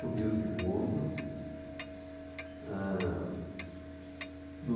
Subiu o segundo. Eh... no